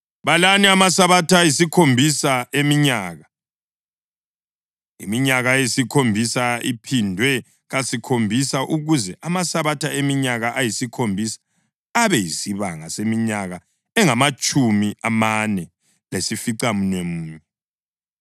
“ ‘Balani amasabatha ayisikhombisa eminyaka, iminyaka eyisikhombisa iphindwe kasikhombisa ukuze amasabatha eminyaka eyisikhombisa abe yisibanga seminyaka engamatshumi amane lesificamunwemunye.